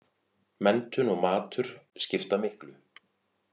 Menntun og matur skipta miklu